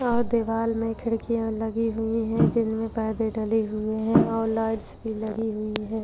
और दीवार में खिड़किया लगी हुई है जिन में पर्दे डले हुए है और लाइट्स भी लगी हुई है।